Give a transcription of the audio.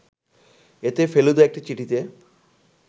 এতে ফেলুদা একটি চিঠিতে